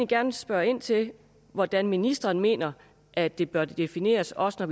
gerne spørge ind til hvordan ministeren mener at det bør defineres også når